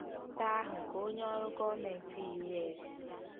Nkwupụta ahụ nke onye ọrụ gọọmentị U.S.